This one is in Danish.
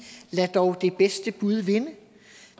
lad dog det bedste bud vinde